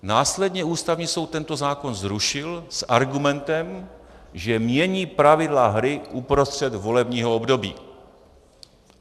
Následně Ústavní soud tento zákon zrušil s argumentem, že mění pravidla hry uprostřed volebního období.